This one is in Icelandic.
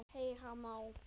Heyra má